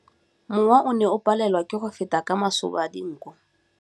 Mowa o ne o palelwa ke go feta ka masoba a dinko.